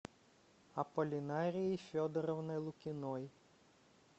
апполинарией федоровной лукиной